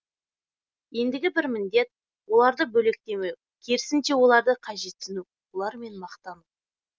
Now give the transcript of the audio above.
ендігі бір міндет оларды бөлектемеу керісінше оларды қажетсіну олармен мақтану